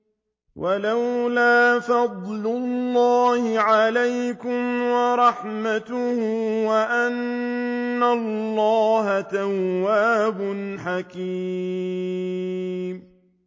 وَلَوْلَا فَضْلُ اللَّهِ عَلَيْكُمْ وَرَحْمَتُهُ وَأَنَّ اللَّهَ تَوَّابٌ حَكِيمٌ